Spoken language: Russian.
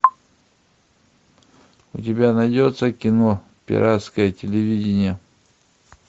у тебя найдется кино пиратское телевидение